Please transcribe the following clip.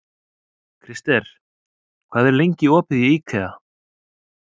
Krister, hvað er lengi opið í IKEA?